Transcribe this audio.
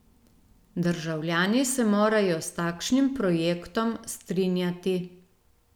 Državljani se morajo s takšnim projektom strinjati.